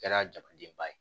Kɛra jamadenba ye